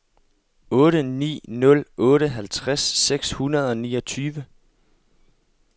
otte ni nul otte halvtreds seks hundrede og niogtyve